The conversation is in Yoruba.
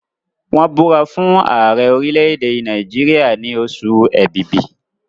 wón búra fún Ààrẹ orilẹ èdè Nàìjíríà ni Oṣù Ẹ̀bìbì.